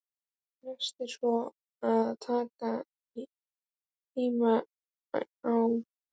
Næst er svo að taka Hemma á beinið.